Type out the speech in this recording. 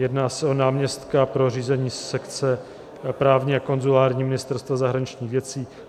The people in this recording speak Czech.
Jedná se o náměstka pro řízení sekce právní a konzulární Ministerstva zahraničních věcí.